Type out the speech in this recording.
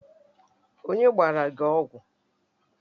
Onye gbara gi ọgwụ?